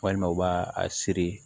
Walima u b'a a siri